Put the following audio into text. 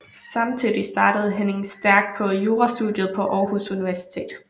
Samtidig startede Henning Stærk på jurastudiet på Aarhus Universitet